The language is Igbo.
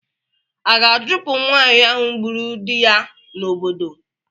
A ga-achụpụ nwaanyị ahụ gburu di ya n'obodo?